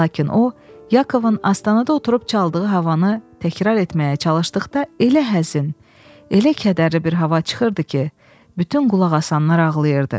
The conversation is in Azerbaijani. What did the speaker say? Lakin o, Yakovun astanada oturub çaldığı havanı təkrar etməyə çalışdıqda elə həzin, elə kədərli bir hava çıxırdı ki, bütün qulaq asanlar ağlayırdı.